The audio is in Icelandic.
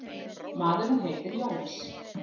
Maðurinn heitir Jónas.